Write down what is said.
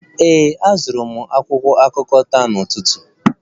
Ee, azụrụ m akwụkwọ akụkọ taa n'ụtụtụ